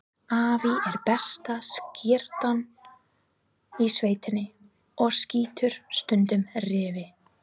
Afi er besta skyttan í sveitinni og skýtur stundum refi.